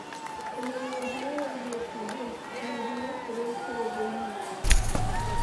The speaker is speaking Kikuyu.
kũmenya ũhoro wĩĩgie PH, ũhehu na kĩrĩa kĩrĩ thĩinĩ wa guo